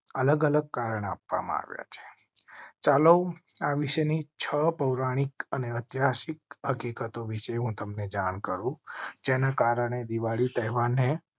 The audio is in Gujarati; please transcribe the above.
અલગ અલગ કારણ આપવામાં ચાલો છ પૌરાણિક અને ઐતિહાસિક હકીકતો વિશે હું તમ ને જાણ કરો. જેના કારણે દિવાળી તહેવાર ને